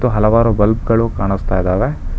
ಹಲವಾರು ಬಲ್ಬ್ ಗಳು ಕಾಣುಸ್ತಾ ಇದಾವೆ.